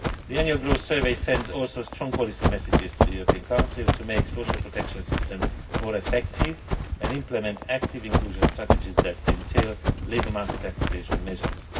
The Annual Growth Survey also sends strong policy messages to the European Council to make social protection systems more effective and implement active inclusion strategies that entail labour market activation measures.